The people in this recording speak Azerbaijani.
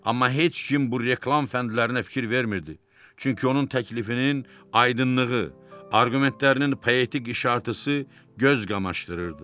Amma heç kim bu reklam fəndlərinə fikir vermirdi, çünki onun təklifinin aydınlığı, arqumentlərinin poetik işartısı göz qamaşdırırdı.